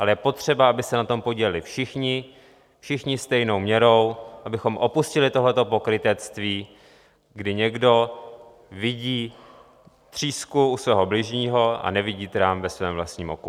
Ale je potřeba, aby se na tom podíleli všichni, všichni stejnou měrou, abychom opustili tohle pokrytectví, kdy někdo vidí třísku u svého bližního a nevidí trám ve svém vlastním oku.